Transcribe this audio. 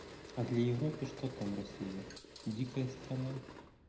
а для европы что там россия дикая страна